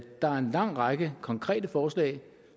er en lang række konkrete forslag